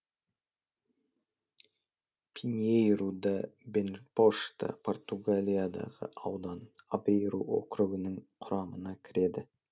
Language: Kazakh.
пиньейру да бенпошта португалиядағы аудан авейру округінің құрамына кіреді